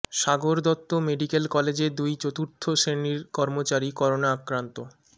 সাগর Dutta medical কলেজে দুই চতুর্থ শ্রেণীর কর্মচারী করোনা আক্রান্ত